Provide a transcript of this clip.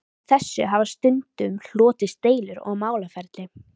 Af þessu hafa stundum hlotist deilur og málaferli.